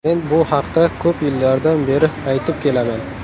Men bu haqda ko‘p yillardan beri aytib kelaman.